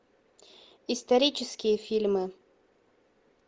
исторические фильмы